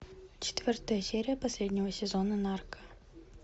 четвертая серия последнего сезона нарко